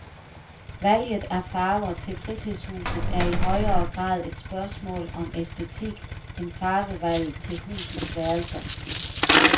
Valget af farver til fritidshuset er i højere grad et spørgsmål om æstetik end farvevalget til husets værelser.